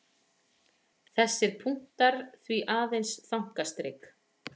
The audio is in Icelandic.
Þessir punktar því aðeins þankastrik.